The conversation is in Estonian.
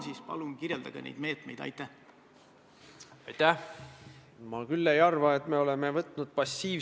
Kui ma ei eksi, siis kas need lipud ei ole mitte seal Riigikogu fuajees – ma võin eksida, teie teate seda paremini.